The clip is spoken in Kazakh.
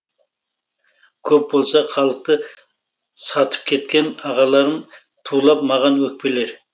көп болса халықты сатып кеткен ағаларым тулап маған өкпелер